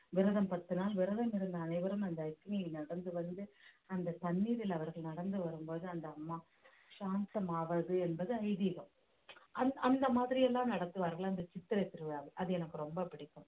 விரதம் பத்து நாள் விரதம் இருந்த அனைவரும் அந்த அக்னியில் நடந்து வந்து அந்த தண்ணீரில் அவர்கள் நடந்து வரும்போது அந்த அம்மா சாந்தம் ஆவது என்பது ஐதீகம் அந்~ அந்த மாதிரி எல்லாம் நடத்துவார்கள் இந்த சித்திரை திருவிழாவை அது எனக்கு ரொம்ப பிடிக்கும்